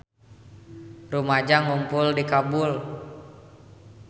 Rumaja ngarumpul di Kabul